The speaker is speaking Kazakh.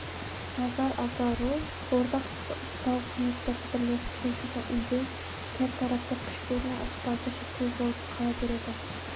назар аудару ортақ тауқіметтерді бірлесіп шешуге үндеу кертартпа күштер мен ықпалды шектеу болып қала береді